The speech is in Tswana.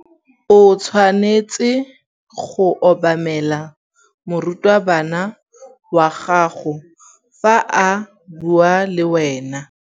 O tshwanetse go obamela morutabana wa gago fa a bua le wena.